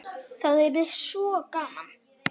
Það yrði svo gaman.